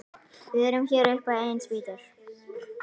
Við erum hér upp á eigin spýtur.